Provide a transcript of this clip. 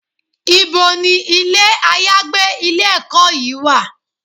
Ibo ni ilé àyágbé ilé-ẹ̀kọ́ yìí wà?